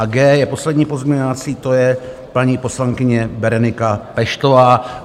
A G je poslední pozměňovací - to je paní poslankyně Berenika Peštová.